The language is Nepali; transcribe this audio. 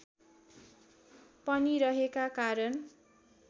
पनि रहेका कारण